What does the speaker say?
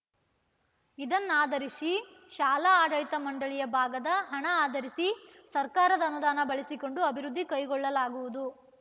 ಇದನ್ನಾಧರಿಸಿ ಶಾಲಾ ಆಡಳಿತ ಮಂಡಳಿಯ ಭಾಗದ ಹಣ ಆಧರಿಸಿ ಸರ್ಕಾರದ ಅನುದಾನ ಬಳಸಿಕೊಂಡು ಅಭಿವೃದ್ಧಿ ಕೈಗೊಳ್ಳಲಾಗುವುದು